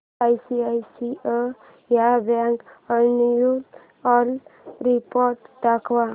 ICICI bank annual report दाखव